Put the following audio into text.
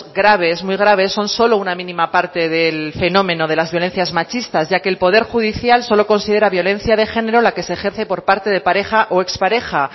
graves muy graves son solo una mínima parte del fenómeno de las violencias machistas ya que el poder judicial solo considera violencia de género la que se ejerce por parte de pareja o expareja